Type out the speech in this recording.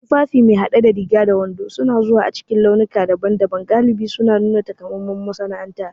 Tufafi me hade da riga da wando suna zuwa cikin launuka daban-daban, galibi suna nuna takamaiman masana'anta.